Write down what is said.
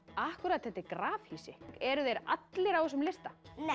akkúrat þetta er grafhýsi eru þeir allir á þessum lista